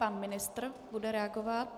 Pan ministr bude reagovat.